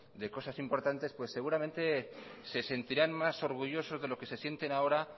de cosas importantes pues seguramente se sentirán más orgullosos de lo que se sienten ahora